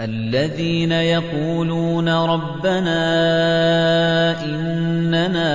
الَّذِينَ يَقُولُونَ رَبَّنَا إِنَّنَا